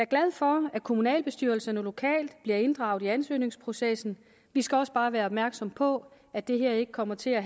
glad for at kommunalbestyrelserne lokalt bliver inddraget i ansøgningsprocessen vi skal også bare være opmærksom på at det her ikke kommer til at